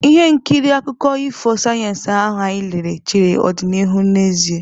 Ihe nkiri akụkọ ifo sayensị ahụ anyị lere chere ọdịnihu n'ezie.